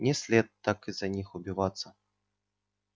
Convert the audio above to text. не след так из-за них убиваться